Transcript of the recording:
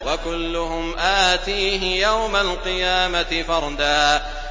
وَكُلُّهُمْ آتِيهِ يَوْمَ الْقِيَامَةِ فَرْدًا